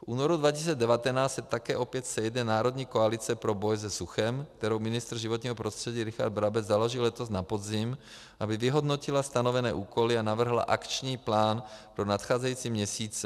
V únoru 2019 se také opět sejde Národní koalice pro boj se suchem, kterou ministr životního prostředí Richard Brabec založil letos na podzim, aby vyhodnotila stanovené úkoly a navrhla akční plán pro nadcházející měsíce.